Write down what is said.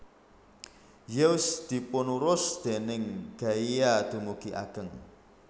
Zeus dipunurus déning Gaia dumugi ageng